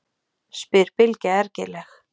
spyr Bylgja ergileg.